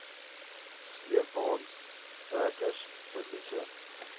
sleepwaens trekkers verliese